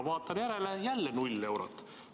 Vaatan järele, jälle 0 eurot.